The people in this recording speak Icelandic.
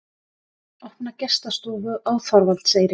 Opna gestastofu á Þorvaldseyri